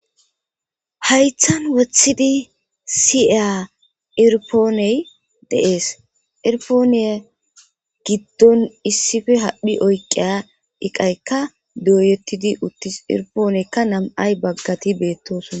haythan wothidi siea irpooney deees irpooneye giddon issife hadhphi oyqiya iqaykka dooyettidi uttis irpooneykka nam7ay baggati beettosuna